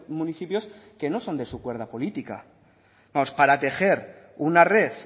municipios que no son de su cuerda política vamos para tejer una red